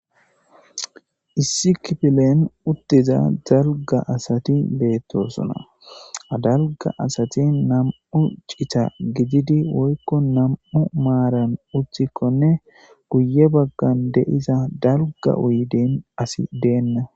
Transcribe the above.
Issi kipilen uttiza dalga asati beettosona dalga asati nam'u cita gididi woykko nam' maaran uthikkonne guye baggan deiza dalga uydin asi deenna.